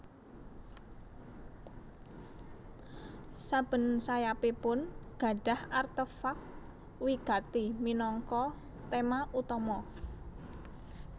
Saben sayapipun gadhah artefak wigati minangka tema utama